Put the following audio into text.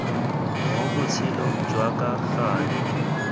mo botshelong jwa ka gale